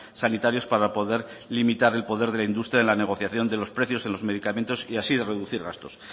sanitarios para poder limitar el poder de la industria en la negociación de los precios en los medicamentos y así reducir gastos